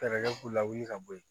Fɛɛrɛ kɛ u la wuli ka bɔ yen